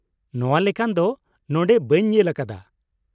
ᱱᱚᱶᱟ ᱞᱮᱠᱟᱱ ᱫᱚ ᱱᱚᱸᱰᱮ ᱵᱟᱹᱧ ᱧᱮᱞ ᱟᱠᱟᱫᱟ ᱾